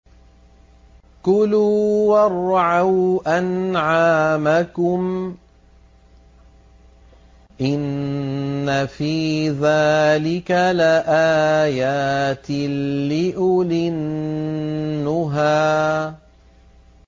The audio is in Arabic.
كُلُوا وَارْعَوْا أَنْعَامَكُمْ ۗ إِنَّ فِي ذَٰلِكَ لَآيَاتٍ لِّأُولِي النُّهَىٰ